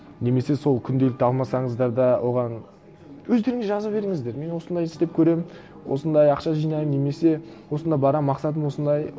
немесе сол күнделікті алмасаңыздар да оған өздеріңіз жаза беріңіздер мен осындай істеп көремін осындай ақша жинаймын немесе осында барамын мақсатым осындай